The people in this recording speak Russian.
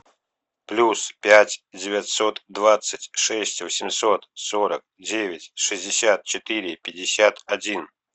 плюс пять девятьсот двадцать шесть восемьсот сорок девять шестьдесят четыре пятьдесят один